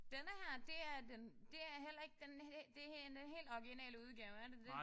Denne her det er den det er heller ikke den det det en helt originale udgave er det det?